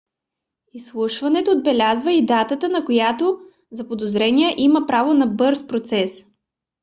изслушването отбелязва и датата на която заподозреният има право на бърз процес